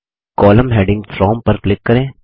column heading from पर click करें